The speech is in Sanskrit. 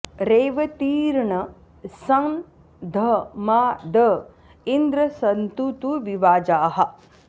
रेवतीर्न सं ध मा द इन्द्र सन्तु तु विवाजाः